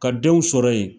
Ka denw sɔrɔ yen